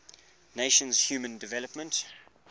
nations human development